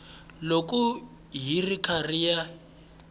loko yi ri karhi yi